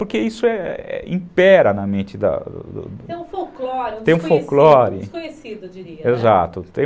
Porque isso impera na mente da... Tem um folclore desconhecido, eu diria, né. Exato.